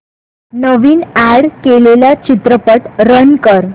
नवीन add केलेला चित्रपट run कर